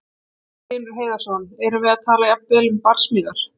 Magnús Hlynur Hreiðarsson: Erum við að tala jafnvel um barsmíðar?